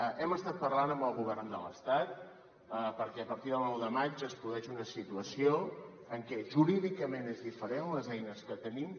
hem estat parlant amb el govern de l’estat perquè a partir del nou de maig es produeix una situació que jurídicament és diferent les eines que tenim